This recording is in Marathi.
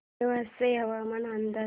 नेवासे हवामान अंदाज